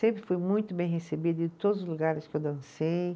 Sempre fui muito bem recebida em todos os lugares que eu dancei.